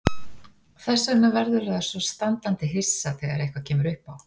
Þess vegna verður það svo standandi hissa þegar eitthvað kemur uppá.